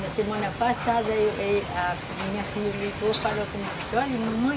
Na semana passada a a minha filha ligou e falou comigo, disse, olha mamãe,